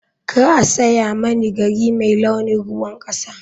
Kar a saya mani gari mai launin ruwan kasa.